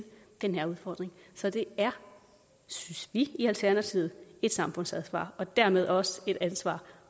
den her udfordring så det er synes vi i alternativet et samfundsansvar og dermed også et ansvar